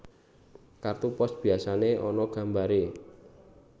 Kartu pos biyasané ana gambaré